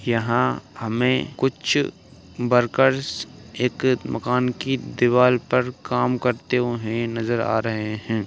यहां हमें कुछ वर्कर्स एक मकान की दीवार पर काम करते हुए नजर आ रहे हैं।